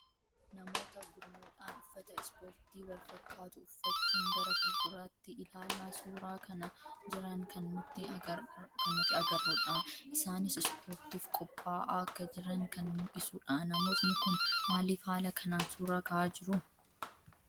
Namoota gurmuudhaan uffata ispoortii wal fakkaatu uffachuun gara fuulduraatti ilaalaa suuraa kaha jiran kan nuti agarruu dha. Isaanis ispoortiif qopha'aa akka jiran kan mullisuu dha. Namoonni kun maaliif haala kanaan suuraa kahaa jiru?